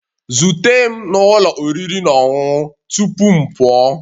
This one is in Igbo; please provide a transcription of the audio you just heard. Zute m na ụlọ oriri na ọṅụṅụ tupu m pụọ